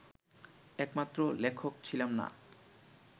একমাত্র লেখক ছিলাম না